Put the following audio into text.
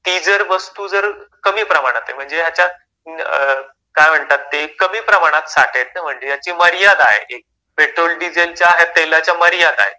म्हणजे ती जर वस्तू जर कमी प्रमाणात आहे म्हणजे याच्या काय म्हणतात ते कमी प्रमाणात साठे आहेत म्हणजे त्याची मर्यादा आहे एक की पेट्रोल डिझेलच्या आणि तेलाच्या मर्यादा आहेत.